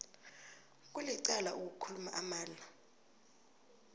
kulicala ukukhuluma amala